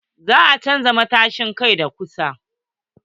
Za a chanza matashin kai da kusa.